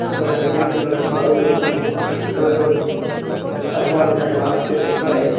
ఇక్కడ green colour ground ఉంది . స్తంబాలు ఉన్నాయి తాటి చెట్లు ఉన్నాయి .